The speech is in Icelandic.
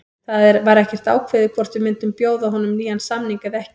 Það var ekkert ákveðið hvort við myndum bjóða honum nýjan samning eða ekki.